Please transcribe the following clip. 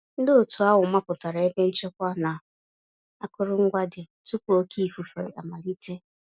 Ndị òtù ahụ mapụtara ebe nchekwa na akụrụngwa dị, tupu oké ifufe amalite